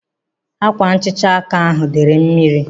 Ákwànhicha áká ahu dere mmiri.